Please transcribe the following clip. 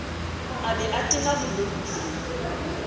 a be a tena bolousu